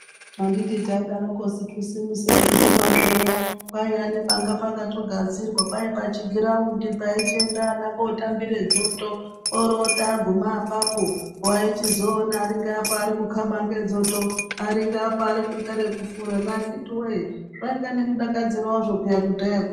Handiti taidarokosu kisimusi reiguma zviya kwaiya nepanga pakatogadzirwa kwai pachigiraundi paichienda ana kootambire dzoto orooti aguma apapo waichizoona aringeapa arikukaba ngedzoto, ari ngeapa arikuita rekufurani akitiwee, zvaiya nemudakadziro wazvo kudhayako.